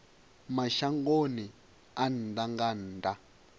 mashangoni a nnḓa nga nnḓa